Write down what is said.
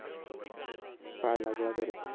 पाय लागला परत